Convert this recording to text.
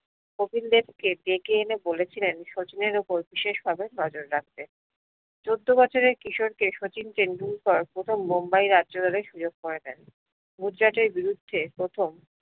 কপিল দেব কে ডেকে এনে বলেছিলেন শচীনের উপর বিশেস ভাবে নজর রাখতে চোদ্দ বছরের কিশোরকে শচীন টেন্ডুলকার প্রথম মুম্বাইয়ের রাজ্য রেলের সুযোগ করে দেন গুজরাটের বিরুদ্ধে প্রথম